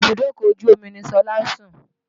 Ibùdókọ̀ ojú omi ni Ṣọlá ń sùn